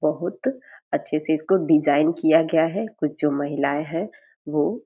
बहुत अच्छे से इसको डिज़ाइन किया गया है कुछ जो महिलाएं हैं वो।